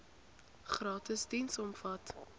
gratis diens omvat